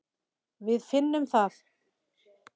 Við finnum það.